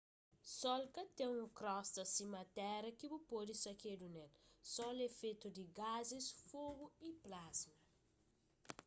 sol ka ten un krosta sima téra ki bu pode sakedu ne-l sol é fetu di gazis fogu y plasma